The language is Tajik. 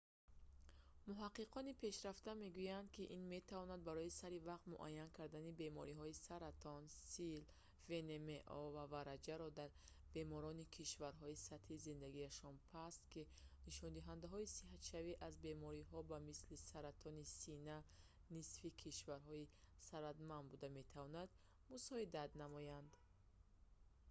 муҳаққиқони пешрафта мегӯянд ки ин метавонад барои саривақт муайян кардани бемориҳои саратон сил внмо ва вараҷаро дар беморони кишварҳои сатҳи зиндагиашон паст ки нишондиҳандаҳои сиҳатшавӣ аз бемориҳо ба мисли саратони сина нисфи кишварҳои сарватмандтар буда метавонад мусоидат намояд